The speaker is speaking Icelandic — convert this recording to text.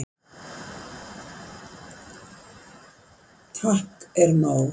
Takk er nóg